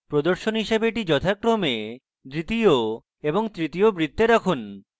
প্রদর্শন হিসাবে এটি যথাক্রমে দ্বিতীয় এবং তৃতীয় বৃত্তে রাখুন